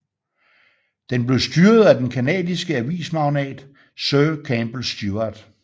Den blev styret af den canadiske avismagnat sir Campbell Stuart